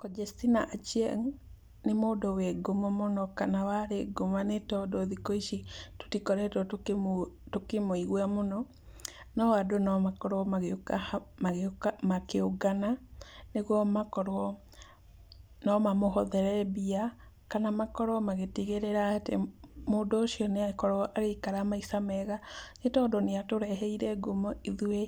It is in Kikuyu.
Conjestina Achieng, nĩ mũndũ wĩ ngumo mũno kana warĩ ngumo nĩ tondũ thikũ ici tũtikoretwo tũkĩmũigũa mũno no andũ no makorwo magĩũka hamwe, makĩũngana nĩgwo makorwo, no mamũhothere mbia kana makorwo magĩtigĩrĩra atĩ mũndũ ũcio nĩa korwo agĩikara maica mega nĩtondũ nĩatũreheire ngumo ithũĩ